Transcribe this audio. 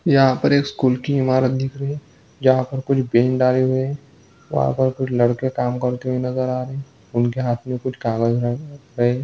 यहाँ पर एक स्कूल की इमारत दिख रही है जहाँ पर कुछ आए हुए है वहाँ पर कुछ लड़के काम करते नज़र आ रहे है उनके हाथ मे कुछ